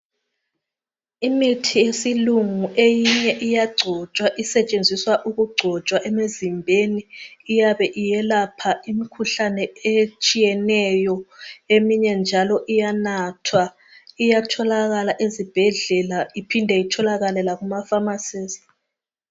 Imithi yesilungu eyinye iyagcotshwa, isetshenziswa ukugcotshwa emzimbeni iyabe iyelapha imkhuhlane etshiyeneyo. Eminye njalo iyanathwa iyatholakala ezibhedlela iphinde itholakale lakumapharmacies.